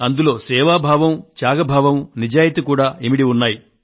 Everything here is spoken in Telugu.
అందులో సేవాభావం త్యాగ భావం నిజాయతీ లు ఇమిడి ఉన్నాయి